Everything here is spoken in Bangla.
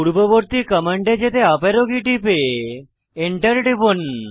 পূর্ববর্তী কমান্ডে যেতে আপ অ্যারো কী টিপে এন্টার টিপুন